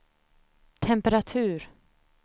temperatur